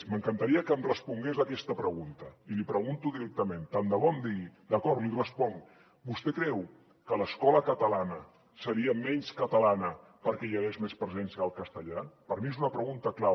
m’encantaria que em respongués a aquesta pregunta i l’hi pregunto directament tant de bo em digui d’acord l’hi responc vostè creu que l’escola catalana seria menys catalana perquè hi hagués més presència del castellà per mi és una pregunta clau